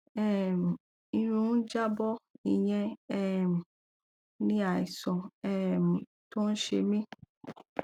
um irun ń já bọ ìyẹn um ni àìsàn um tó ń ṣe mí